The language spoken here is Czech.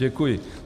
Děkuji.